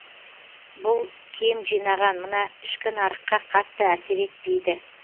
бұл кем жинаған мына ішкі нарыққа қатты әсер етпейді